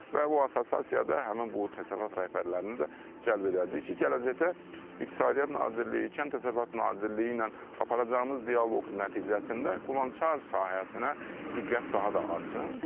Və o assosiasiyada həmin bu təsərrüfat rəhbərlərini də cəlb edəcəyik ki, gələcəkdə İqtisadiyyat Nazirliyi, Kənd Təsərrüfatı Nazirliyi ilə aparacağımız dialoq nəticəsində qulançar sahəsinə diqqət daha da artsın.